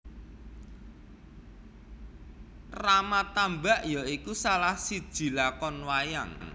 Rama Tambak ya iku salah siji lakon wayang